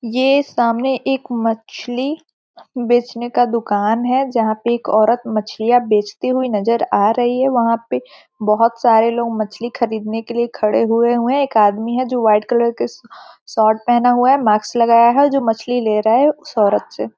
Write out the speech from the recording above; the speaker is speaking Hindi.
ये सामने एक मछली बेचने का दुकान है जहाँ पे एक औरत मछलीयाँ बेचती हुई नज़र आ रही है वहां पे बहुत सारे लोग मछली खरीदने के लिए खड़े हुए हुए हैं एक आदमी है जो वाइट कलर की शिर्ट --